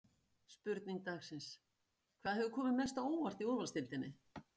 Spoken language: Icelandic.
Spurning dagsins: Hvað hefur komið mest á óvart í úrvalsdeildinni?